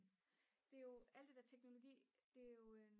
det er jo alle det det der teknologi det er jo